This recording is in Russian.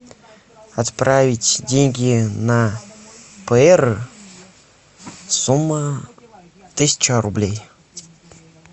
отправить деньги на пр сумма тысяча рублей